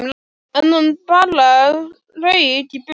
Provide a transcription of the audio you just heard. En hann bara rauk í burtu.